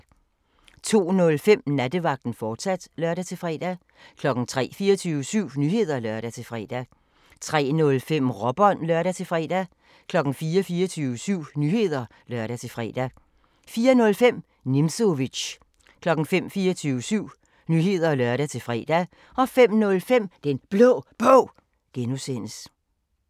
02:05: Nattevagten, fortsat (lør-fre) 03:00: 24syv Nyheder (lør-fre) 03:05: Råbånd (lør-fre) 04:00: 24syv Nyheder (lør-fre) 04:05: Nimzowitsch 05:00: 24syv Nyheder (lør-fre) 05:05: Den Blå Bog (G)